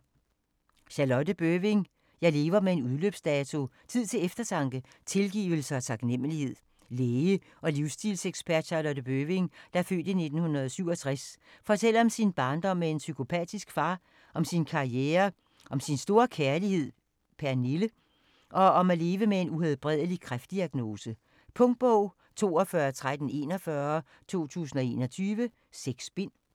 Bøving, Charlotte: Jeg lever med en udløbsdato: tid til eftertanke, tilgivelse og taknemmelighed Læge og livsstilsekspert Charlotte Bøving (f. 1967) fortæller om sin barndom med en psykopatisk far, om sin karriere, om sin store kærlighed Pernille, og om at leve med en uhelbredelig kræftdiagnose. Punktbog 421341 2021. 6 bind.